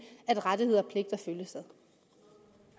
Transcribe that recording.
at rettigheder